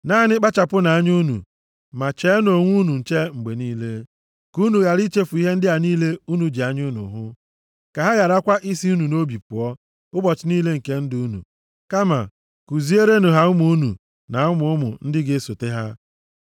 Naanị kpachapụnụ anya unu, ma cheenụ onwe unu nche mgbe niile, ka unu ghara ichefu ihe ndị a niile unu ji anya unu hụ, ka ha gharakwa isi nʼobi unu pụọ ụbọchị niile nke ndụ unu. Kama kuziere ha ụmụ unu, na ụmụ ụmụ ndị ga-esote ha.